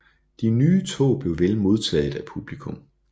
De nye tog blev vel modtaget af publikum